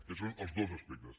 aquests són els dos aspectes